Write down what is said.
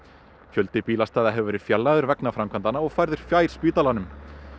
fjöldi bílastæða hefur verið fjarlægður vegna byggingaframkvæmdanna og færður fjær spítalanum